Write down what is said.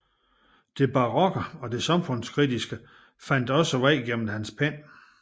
Det barokke og det samfundskritiske fandt også vej gennem hans pen